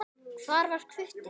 Hvar var Hvutti?